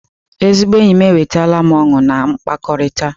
Ezigbo enyi m ewetala m ọṅụ na mkpakọrịta.